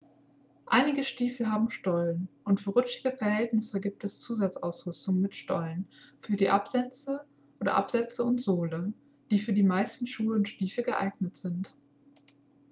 einige stiefel haben stollen und für rutschige verhältnisse gibt es zusatzausrüstung mit stollen für die absätze oder absätze und sohle die für die meisten schuhe und stiefel geeignet sind